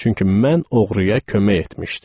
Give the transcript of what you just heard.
Çünki mən oğruya kömək etmişdim.